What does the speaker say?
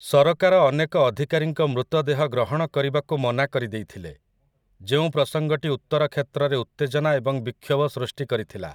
ସରକାର ଅନେକ ଅଧିକାରୀଙ୍କ ମୃତଦେହ ଗ୍ରହଣ କରିବାକୁ ମନା କରିଦେଇଥିଲେ, ଯେଉଁ ପ୍ରସଙ୍ଗଟି ଉତ୍ତର କ୍ଷେତ୍ରରେ ଉତ୍ତେଜନା ଏବଂ ବିକ୍ଷୋଭ ସୃଷ୍ଟି କରିଥିଲା ।